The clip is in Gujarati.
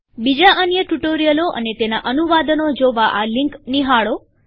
બીજા અન્ય ટ્યુ્ટોરીઅલો અને તેના અનુવાદનો જોવા આ લીન્કો નિહાળો